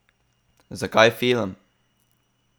Zakaj film?